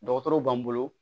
Dɔgɔtɔrɔw b'an bolo